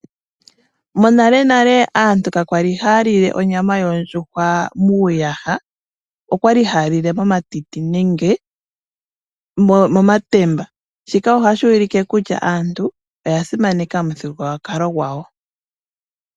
Monalenale aantu kakwali haya lile onyama yondjuhwa muuyaha, okwali haya lile momatiti nenge momatemba. Shika ohashi ulike kutya aantu oya simaneka omuthigululwakalo gwawo.